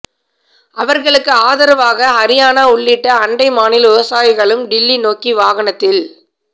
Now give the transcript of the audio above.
அவர்களுக்கு ஆதரவாக ஹரியானா உள்ளிட்ட அண்டை மாநில விவசாயிகளும் டில்லி நோக்கி வாகனத்தில்